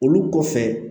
Olu kɔfɛ